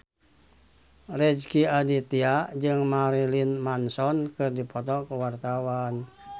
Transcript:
Rezky Aditya jeung Marilyn Manson keur dipoto ku wartawan